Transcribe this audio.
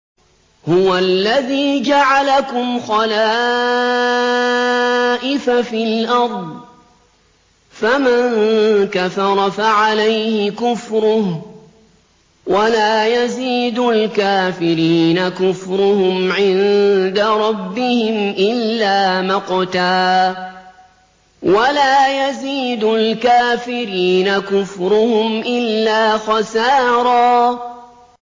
هُوَ الَّذِي جَعَلَكُمْ خَلَائِفَ فِي الْأَرْضِ ۚ فَمَن كَفَرَ فَعَلَيْهِ كُفْرُهُ ۖ وَلَا يَزِيدُ الْكَافِرِينَ كُفْرُهُمْ عِندَ رَبِّهِمْ إِلَّا مَقْتًا ۖ وَلَا يَزِيدُ الْكَافِرِينَ كُفْرُهُمْ إِلَّا خَسَارًا